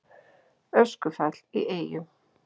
Öskufall í Eyjum